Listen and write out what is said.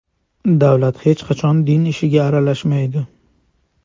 Davlat hech qachon din ishiga aralashmaydi.